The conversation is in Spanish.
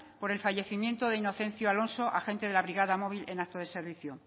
por el fallecimiento de inocencio alonso agente de la brigada móvil en acto de servicio